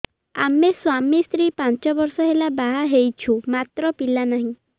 ଆମେ ସ୍ୱାମୀ ସ୍ତ୍ରୀ ପାଞ୍ଚ ବର୍ଷ ହେଲା ବାହା ହେଇଛୁ ମାତ୍ର ପିଲା ନାହିଁ